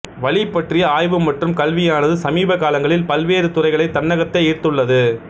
வலி பற்றிய ஆய்வு மற்றும் கல்வியானது சமீப காலங்களில் பல்வேறு துறைகளைத் தன்னகத்தே ஈர்த்துள்ளது